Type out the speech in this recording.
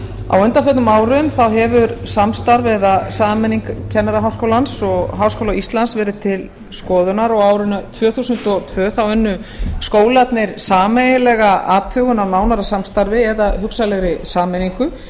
á undanförnum árum hefur samstarf eða sameining kennaraháskólans og háskóla íslands verið til skoðunar og á árinu tvö þúsund og tvö unnu skólarnir sameiginlega athugun á nánara samstarfi eða hugsanlegri sameiningu